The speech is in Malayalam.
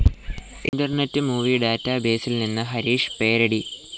ഇന്റർനെറ്റ്‌ മൂവി ഡാറ്റാബേസിൽ നിന്ന് ഹരീഷ് പേരടി